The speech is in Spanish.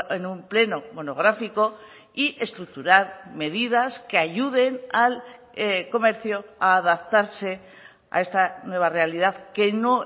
en un pleno monográfico y estructurar medidas que ayuden al comercio a adaptarse a esta nueva realidad que no